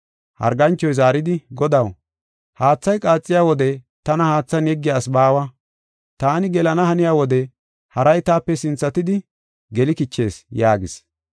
Harganchoy zaaridi, “Godaw, haathay qaaxiya wode tana haathan yeggiya asi baawa. Taani gelana haniya wode haray taape sinthatidi geli kichees” yaagis.